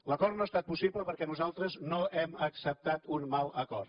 l’acord no ha estat possible perquè nosaltres no hem acceptat un mal acord